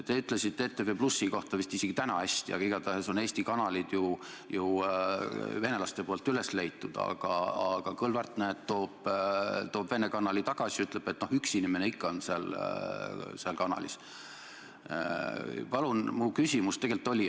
Te ütlesite ETV+ kohta vist isegi täna hästi, aga igatahes on Eesti kanalid ju venelastel üles leitud, aga Kõlvart, näed, toob Vene kanali tagasi ja ütleb, et no üks inimene ikka on seal kanalis.